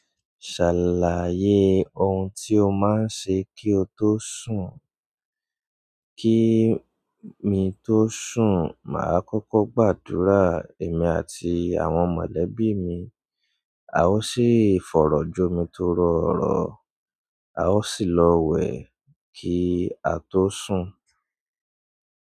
Ṣàlàyé ohun tí o máa ń ṣe kí o tó sùn. Kí mi tó sùn, màá kọ́kọ́ gbàdúrà èmi àti àwọn mọ̀lẹ́bí mi, a ó sì fọ̀rọ̀jomi torọ orọ̀, a ó sì lọ wẹ̀ kí á tó sùn.